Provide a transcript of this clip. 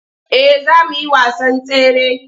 Eh za mu yi wasan tsare.